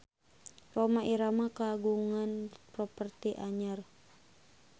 Rhoma Irama kagungan properti anyar